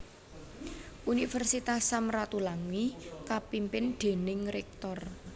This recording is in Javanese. Universitas Sam Ratulangi kapimpin déning Rektor